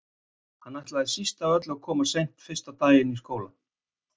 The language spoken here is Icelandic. Hann ætlaði síst af öllu að koma of seint fyrsta daginn í skólanum.